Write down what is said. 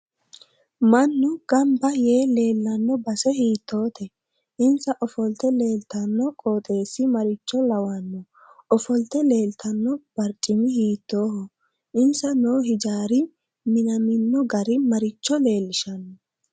Mannu ganbba yee leelanno base hiitoote insa ofolte leeltanno qoxeesi maricho lawanno ofolte leeltanno barcimi hiitooho insa noo hijaari minamino gari maricho leelishanno